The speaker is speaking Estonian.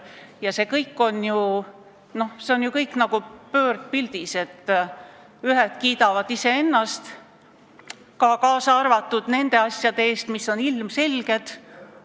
Ja see kõik on nagu pöördpildis: nüüd kiidavad iseennast lihtsalt teised.